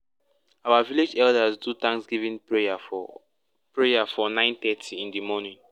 our village elders do thanskgiving prayer for prayer for nine thirty in di morning